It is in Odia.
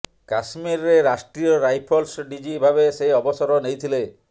କାଶ୍ମୀରରେ ରାଷ୍ଟ୍ରୀୟ ରାଇଫଲ୍ସ ଡିଜି ଭାବେ ସେ ଅବସର ନେଇଥିଲେ